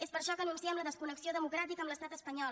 és per això que anunciem la desconnexió democràtica de l’estat espanyol